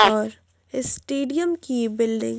और इस स्टेडियम की बिल्डिंग --